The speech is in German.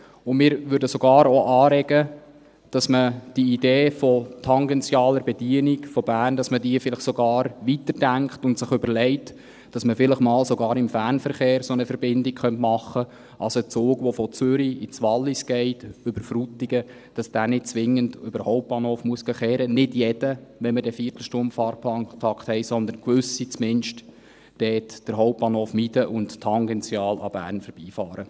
Und wir würden sogar auch anregen, dass man die Idee der tangentialen Bedienung Berns vielleicht sogar weiterdenkt und sich überlegt, vielleicht einmal sogar im Fernverkehr eine solche Verbindung zu machen: dass also ein Zug, der von Zürich über Frutigen ins Wallis fährt, nicht zwingend einen Umweg über den Hauptbahnhof machen muss – nicht jeder, wenn wir dann den Viertelstundenfahrplantakt haben, sondern zumindest gewisse, die den Hauptbahnhof meiden und tangential an Bern vorbeifahren.